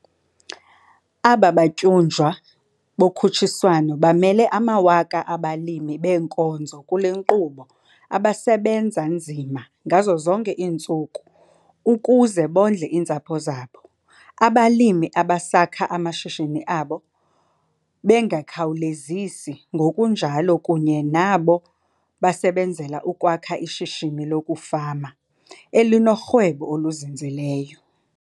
Aba batyunjwa bokhutshiswano bamele amawaka abalimi beenkonzo kule nkqubo abasebenza nzima ngazo zonke iintsuku ukuze bondle iintsapho zabo, abalimi abasakha amashishini abo bengakhawulezisi ngokunjalo kunye nabo basebenzela ukwakha ishishini lokufama elinorhwebo oluzinzileyo.